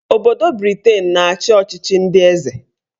Obodo Briten na-achị ọchịchị ndị eze